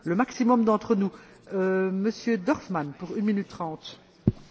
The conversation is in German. Frau Präsidentin, sehr geehrter Herr Kommissar, geschätzte Kolleginnen und Kollegen!